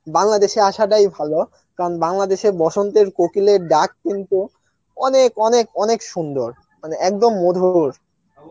বাংলাদেশে আসাটাই ভালো কারণ বাংলাদেশে বসন্তের কোকিলের ডাক কিন্তু অনেক অনেক অনেক সুন্দর মানে একদম মধুর